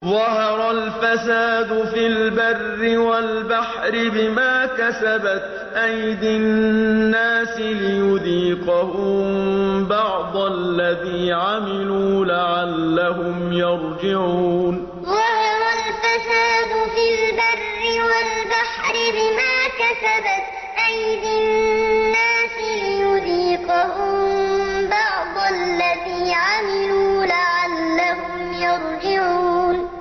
ظَهَرَ الْفَسَادُ فِي الْبَرِّ وَالْبَحْرِ بِمَا كَسَبَتْ أَيْدِي النَّاسِ لِيُذِيقَهُم بَعْضَ الَّذِي عَمِلُوا لَعَلَّهُمْ يَرْجِعُونَ ظَهَرَ الْفَسَادُ فِي الْبَرِّ وَالْبَحْرِ بِمَا كَسَبَتْ أَيْدِي النَّاسِ لِيُذِيقَهُم بَعْضَ الَّذِي عَمِلُوا لَعَلَّهُمْ يَرْجِعُونَ